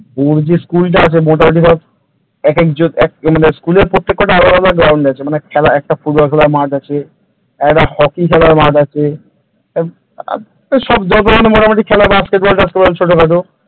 ওর যে school টা আছে মোটামুটি ধর একজন মানে school র প্রত্যেকটা আলাদা আলাদা ground আছে মানে খেলা একটা ফুটবল খেলার মাঠ আছে একটা হকি খেলার মাঠ আছে সব যেরকম মোটামুটি বাস্কেটবল টাস্কেটবল ছোটখাটো